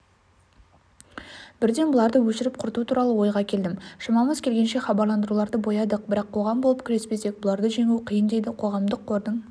бірден бұларды өшіріп құрту туралы ойға келдім шамамыз келгенше хабарландыруларды боядық бірақ қоғам болып күреспесек бұларды жеңу қиын дейді қоғамдық қордың